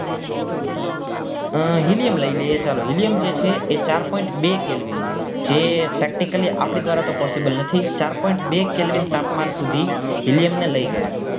અ helium લઇ લઈએ ચાલો helium જે છે એ ચાર point બે calvin જે practically આપણા ધ્વારા તો possible નથી જ ચાર point બે calvin તાપમાન સુધી helium ને લઇ ગયા